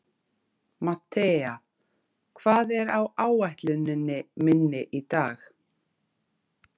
Mattea, hvað er á áætluninni minni í dag?